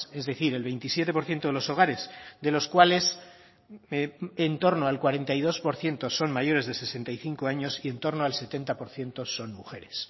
es decir el veintisiete por ciento de los hogares de los cuales en torno al cuarenta y dos por ciento son mayores de sesenta y cinco años y en torno al setenta por ciento son mujeres